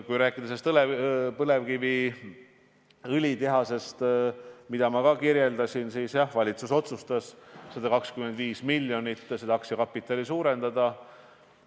Kui rääkida põlevkiviõlitehasest, mida ma kirjeldasin, siis jah, valitsus otsustas 125 miljoni euro võrra aktsiakapitali suurendada.